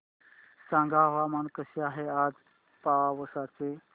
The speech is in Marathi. सांगा हवामान कसे आहे आज पावस चे